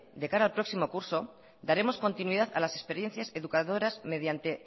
de cara al próximo curso daremos continuidad a las experiencias educadoras mediante